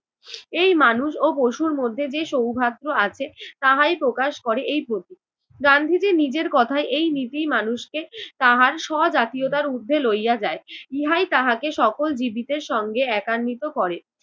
এই মানুষ ও পশুর মধ্যে যে সৌহার্দ্য আছে তাহাই প্রকাশ করে এই প্রতীক। গান্ধীজি নিজের কথায় এই নিজেই মানুষকে তাহার স্ব-জাতীয়তার উর্ধ্বে লইয়া যায় ইহাই তাহাকে সকল জীবিতের সঙ্গে একান্নিত করে।